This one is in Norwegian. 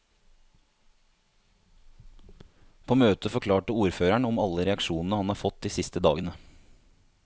På møtet forklarte ordføreren om alle reaksjonene han har fått de siste dagene.